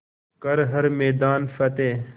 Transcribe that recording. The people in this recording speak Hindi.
कर हर मैदान फ़तेह